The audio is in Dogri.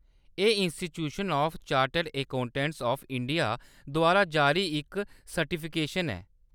एह्‌‌ institution of chartered accountants of India द्वारा जारी इक सर्टिफिकेशन ऐ।